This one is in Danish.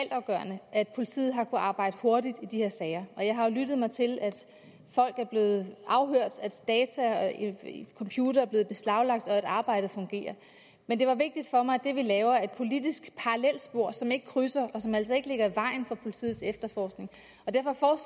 altafgørende at politiet har kunnet arbejde hurtigt i de her sager og jeg har jo lyttet mig til at folk er blevet afhørt at data og computere er blevet beslaglagt og at arbejdet fungerer men det er vigtigt for mig at det vi laver er et politisk parallelspor som ikke krydser og som altså ikke ligger i vejen for politiets efterforskning